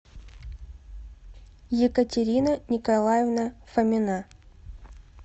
екатерина николаевна фомина